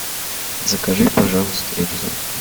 закажи пожалуйста рюкзак